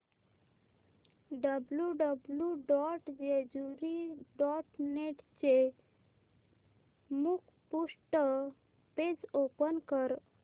W W W dot Jejuri dot net चे मुखपृष्ठ page open कर